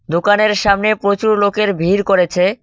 দোকানের সামনে প্রচুর লোকের ভিড় করেছে।